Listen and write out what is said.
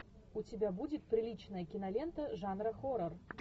у тебя будет приличная кинолента жанра хоррор